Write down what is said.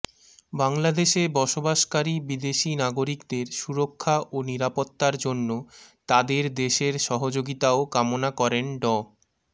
বাংলাদেশে বসবাসকারী বিদেশি নাগরিকদের সুরক্ষা ও নিরাপত্তার জন্য তাদের দেশের সহযোগিতাও কামনা করেন ড